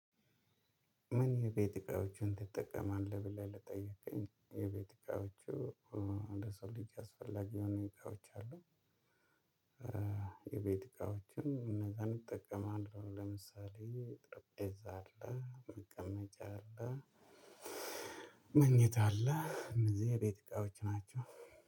ምን? የቤት እቃዎችን ትጠቀማለህ ብለህ ለጠየከኝ የቤት እቃዎቹ ለሰው ልጅ አስፈላጊ የሆነ እቃዎች አሉ። የቤት እቃዎችን እነዛን እጠቀማለው ለምሳሌ ጠረፔዛ አለ መቀመጫ አለ። መኝታ አለ እነዚህ የቤት እቃዎች ናቸው።